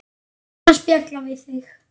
Gaman að spjalla við þig.